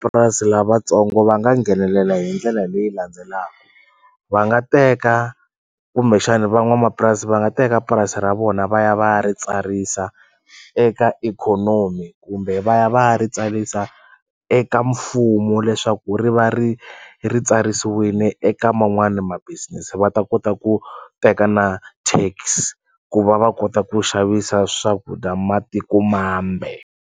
Purasi lavatsongo va nga nghenelela hi ndlela leyi landzelaka va nga teka kumbexani van'wamapurasi va nga teka purasi ra vona va ya va ya ri tsarisa eka ikhonomi kumbe va ya va ya ri tsarisa eka mfumo leswaku ri va ri ri tsarisiwini eka man'wani ma business va ta kota ku teka na tax ku va va kota ku xavisa swakudya matiko mambe.